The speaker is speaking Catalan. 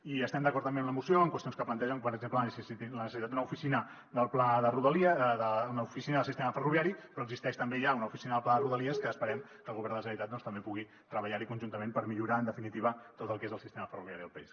i estem d’acord també amb la moció en qüestions que plantegen per exemple en la necessitat d’una oficina del sistema ferroviari però existeix també hi ha una oficina del pla de rodalies que esperem que el govern de la generalitat també pugui treballar hi conjuntament per millorar en definitiva tot el que és el sistema ferroviari del país